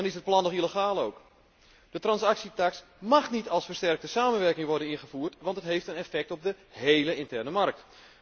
En dan is het plan nog illegaal ook. De transactietaks mag niet via versterkte samenwerking worden ingevoerd, want het heeft een effect op de hele interne markt.